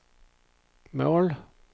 mål